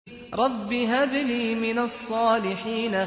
رَبِّ هَبْ لِي مِنَ الصَّالِحِينَ